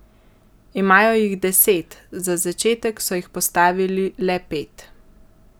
Imajo jih deset, za začetek so jih postavili le pet.